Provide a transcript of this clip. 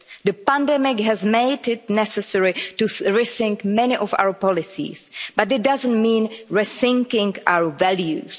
The pandemic has made it necessary to rethink many of our policies, but it doesn't mean rethinking our values.